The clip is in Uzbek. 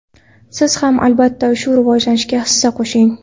Siz ham albatta shu rivojlanishga hissa qo‘shing!